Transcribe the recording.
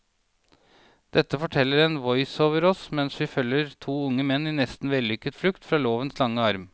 Dette forteller en voiceover oss mens vi følger to unge menn i en nesten vellykket flukt fra lovens lange arm.